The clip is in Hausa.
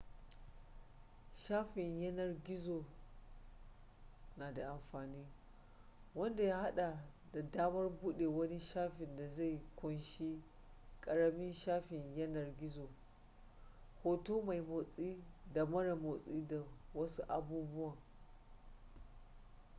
shafin yanar gizon na da amfani wanda ya hada da damar bude wani shafin da zai kunshi karamin shafin yanar gizo hoto mai motsi da mara motsi da wasu abubuwan